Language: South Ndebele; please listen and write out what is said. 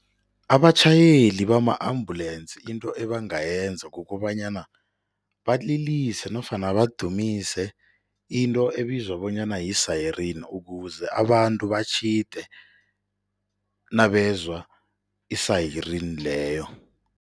Abatjhayeli bama-ambulensi into ebangayenza kukobanyana, balilise nofana badumise into ebizwa bonyana yi-siren ukuze abantu batjhide nabezwa i-siren leyo.